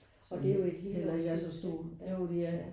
Og det er jo et helårshus ikke